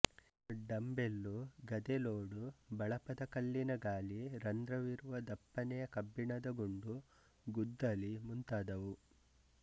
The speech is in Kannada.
ಡಂಬೆಲ್ಲು ಗದೆಲೋಡು ಬಳಪದ ಕಲ್ಲಿನ ಗಾಲಿ ರಂಧ್ರವಿರುವ ದಪ್ಪನೆ ಕಬ್ಬಿಣದ ಗುಂಡು ಗುದ್ದಲಿ ಮುಂತಾದುವು